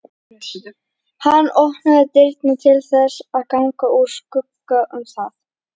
Hann opnaði dyrnar til þess að ganga úr skugga um það.